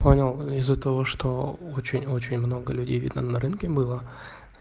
понял и из-за того что очень очень много людей видно на рынке было